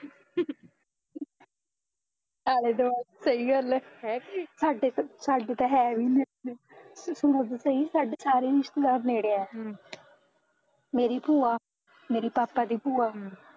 ਆਲੇ ਦੁਆਲੇ, ਸਹੀ ਗੱਲ ਐ ਸਾਡੇ ਤਾਂ ਸਾਡੇ ਤਾਂ ਹੈ ਵੀ ਨੀ ਇੱਥੇ ਸਾਡੇ ਸਾਰੇ ਰਿਸ਼ਤੇਦਾਰ ਨੇੜੇ ਐ ਮੇਰੀ ਭੂਆ, ਮੇਰੇ ਪਾਪਾ ਦੀ ਭੂਆ